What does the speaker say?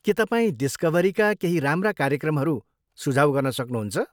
के तपाईँ डिस्कभरीका केही राम्रा कार्यक्रमहरू सुझाउ गर्न सक्नहुन्छ?